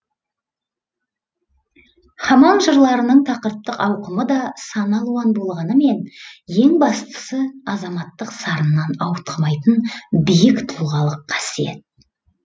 хамаң жырларының тақырыптық ауқымы да сан алуан болғанымен ең бастысы азаматтық сарыннан ауытқымайтын биік тұлғалық қасиет